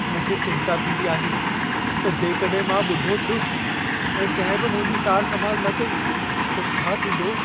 मूंखे चिंता थींदी आहे त जेकॾहिं मां ॿुढो थियुसि ऐं कंहिं बि मुंहिंजी सार संभाल न कई त छा थींदो?